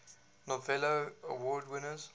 novello award winners